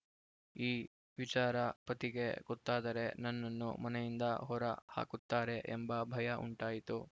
ಈ ವಿಚಾರ ಪತಿಗೆ ಗೊತ್ತಾದರೆ ನನ್ನನ್ನು ಮನೆಯಿಂದ ಹೊರ ಹಾಕುತ್ತಾರೆ ಎಂಬ ಭಯ ಉಂಟಾಯಿತು